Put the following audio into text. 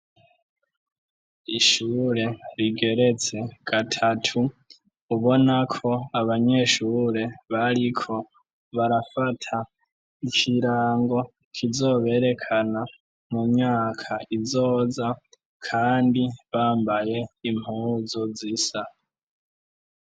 Ishure rigeretse gatatu ubona ko abanyeshure bariko barafata ikirango kizoberekana mu myaka izoza kandi bambaye impuzu zisa.